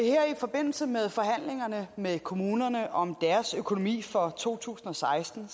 forbindelse med forhandlingerne med kommunerne om deres økonomi for to tusind og seksten